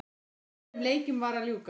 Fjórum öðrum leikjum var að ljúka